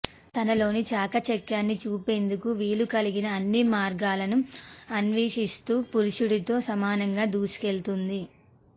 తనలోని చాకచక్యాన్ని చూపేందుకు వీలు కలిగిన అన్ని మార్గాలను అనే్వషిస్తూ పురుషుడితో సమానంగా దూసుకెళ్తోంది